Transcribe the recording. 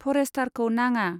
फरेष्टारखौ नाङा।